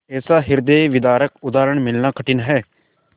ऐसा हृदयविदारक उदाहरण मिलना कठिन है